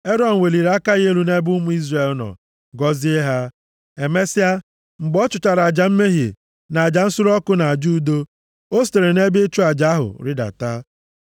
Erọn weliri aka ya elu nʼebe ụmụ Izrel nọ, gọzie ha. Emesịa, mgbe ọ chụchara aja mmehie, na aja nsure ọkụ na aja udo, o sitere nʼebe ịchụ aja ahụ rịdata.